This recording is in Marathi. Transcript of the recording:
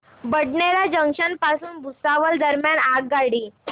बडनेरा जंक्शन पासून भुसावळ दरम्यान आगगाडी